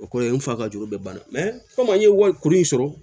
O kɔrɔ ye n fa ka juru bɛ banna komi an ye wali kuru in sɔrɔ